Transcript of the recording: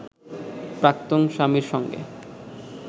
প্রাক্তন স্বামীর সঙ্গে